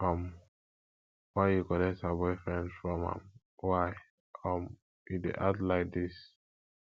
um why you collect her boyfriend from am why um you dey act like dis